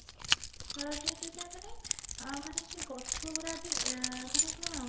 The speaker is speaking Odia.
change ହଉଥାଏ ମାନେ ସେ ଗଛ ଗୁଡା ବି ମାନେ କଣ ଖୁସି